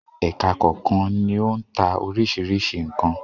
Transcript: Ẹka kọ̀ọ̀kan ni ó ń ta oríṣiríṣi nǹkan.